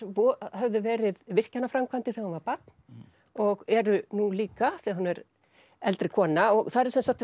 höfðu verið virkjanaframkvæmdir þegar hún var barn og eru nú líka þegar hún er eldri kona þar er